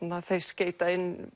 þeir skeyta inn